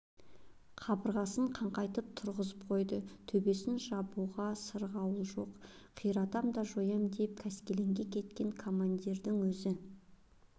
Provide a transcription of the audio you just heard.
қабырғасын қаңқайтып тұрғызып қойды төбесн жабуға сырғауыл жоқ қиратам да жоям деп қаскелеңге кеткен командирдің өз